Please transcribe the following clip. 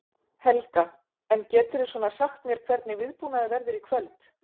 Helga: En geturðu svona sagt mér hvernig viðbúnaður verður í kvöld?